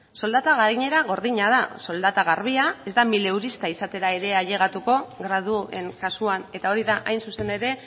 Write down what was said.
soldata gaienera gordina da soldata garbia ez da milesurista izatera ailegatuko graduen kasuan eta hori da hain zuzen ere